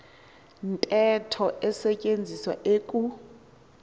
ntetho isetyenziswa eku